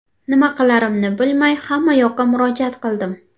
Nima qilarimni bilmay, hammayoqqa murojaat qildim.